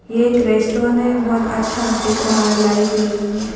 ये एक रेस्टोंन हैं बहोत अच्छा दिख रहा है लाइट लगी हुई है।